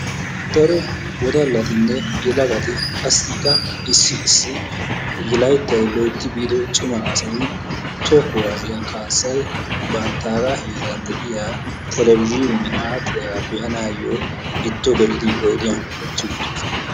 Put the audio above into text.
Daro wodallatine yelagati qassika issi issi layttay loytti biido cima asay toho kuwasiya kaasay banttaga heeran deiya televzhiniyaan adhdhiyaga beanayo giddo gelidi oyddiyan uttiwuttidosona.